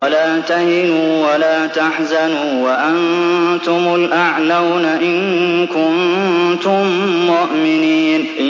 وَلَا تَهِنُوا وَلَا تَحْزَنُوا وَأَنتُمُ الْأَعْلَوْنَ إِن كُنتُم مُّؤْمِنِينَ